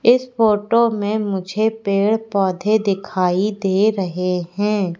इस फोटो मे मुझे पेड़ पौधे दिखाई दे रहे है।